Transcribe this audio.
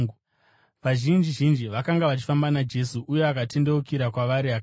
Vazhinji zhinji vakanga vachifamba naJesu, uye akatendeukira kwavari akati,